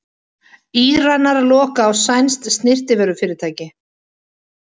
Íranar loka á sænskt snyrtivörufyrirtæki